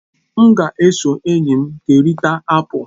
M ga-eso ndị enyi m kerịta apụl.